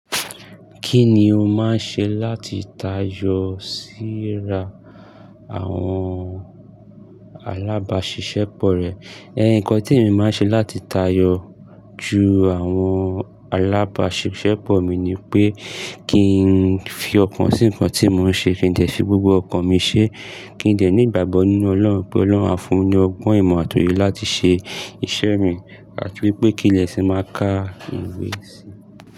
Kí ni o máa ń ṣe láti tayọ síra àwọn alábàáṣiṣẹ́pọ̀ rẹ? Ẹ nìkan tí mo máa ń ṣe láti tayọ ju àwọn alábàáṣiṣẹ́pọ̀ mi ni pé kí n fi ọkàn sí ǹkan tí mo ń ṣe, kí n jẹ fi gbogbo ọkàn mi ṣe, kí n jẹ ní ìgbàgbọ nínú Ọlọ́run pé Ọlọ́run á fún mi ọgbọ́n ìmọ̀ àti òye láti ṣe iṣẹ́ mi àti wípé kí n lè sì máa ka ìwé sí i.